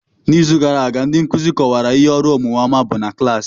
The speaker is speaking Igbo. N'izu gara aga ndị nkuzi kọwara ihe ọrụ omume ọma bụ na klaasị.